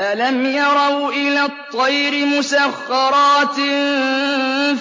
أَلَمْ يَرَوْا إِلَى الطَّيْرِ مُسَخَّرَاتٍ